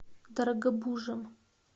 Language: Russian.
дорогобужем